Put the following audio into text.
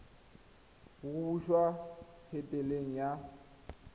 go busa t helete ya